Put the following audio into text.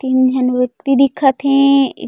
तीन झन व्यक्ति दिखत हे एक--